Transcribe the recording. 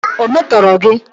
Ọ̀ metọrọ gị?